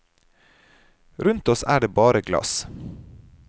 Rundt oss er det bare glass.